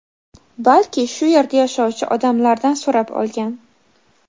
balki shu yerda yashovchi odamlardan so‘rab olgan.